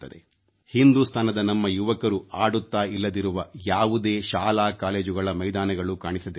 ಹಿಂದುಸ್ತಾನದ ನಮ್ಮ ಯುವಕರು ಆಡುತ್ತಾ ಇಲ್ಲದಿರುವ ಯಾವುದೇ ಶಾಲಾಕಾಲೇಜುಗಳ ಮೈದಾನಗಳೂ ಕಾಣಿಸದಿರಲಿ